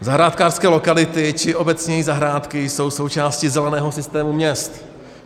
Zahrádkářské lokality či obecněji zahrádky jsou součástí zeleného systému měst.